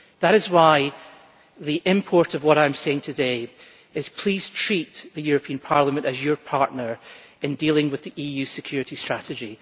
That is why the import of what I am saying today is please treat the European Parliament as your partner in dealing with the EU Security Strategy.